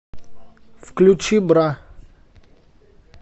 включи бра